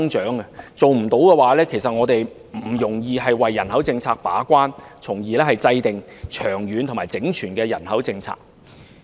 如果做不到這一點，我們便不容易為人口政策把關，從而制訂長遠和整全的人口政策。